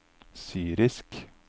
syrisk